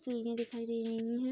सीढ़ी दिखाई दे रही हैं।